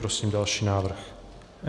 Prosím další návrh.